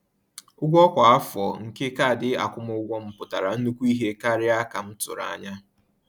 Ụgwọ kwa afọ nke kaadị akwụmụgwọ m pụtara nnukwu ihe karịa ka m tụrụ anya.